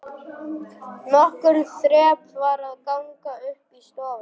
Nokkur þrep var að ganga upp í stofuna.